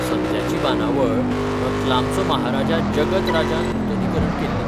सद्याची बांदावळ रतलामचो महाराजा जगत राजान नूतनीकरण केल्ली.